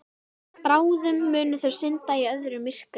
Bráðum munu þau synda í öðru myrkri.